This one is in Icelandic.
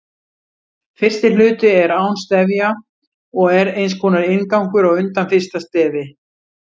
Fyrsti hluti er án stefja og er eins konar inngangur á undan fyrsta stefi.